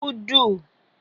ùdù